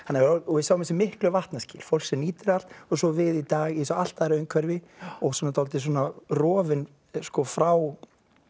við sjáum þessi miklu vatnaskil fólk sem nýtir allt og svo við í dag í allt öðru umhverfi og dálítið rofin frá